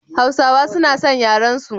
Hausawa suna san yarensu sosai.